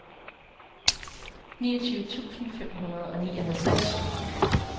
niogtyve tusind fem hundrede og nioghalvtreds